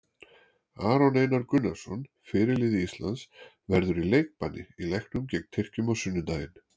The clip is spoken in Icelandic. Aron Einar Gunnarsson, fyrirliði Íslands, verður í leikbanni í leiknum gegn Tyrkjum á sunnudaginn.